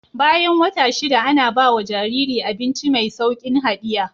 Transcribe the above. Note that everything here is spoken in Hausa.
Bayan wata shida Ana bawa Jariri abinci me saukin hadiya